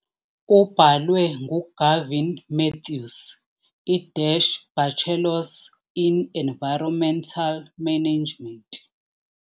Ubhalwe nguGavin Mathews, i-Bachelor's in environmental management.